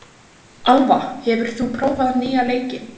Alva, hefur þú prófað nýja leikinn?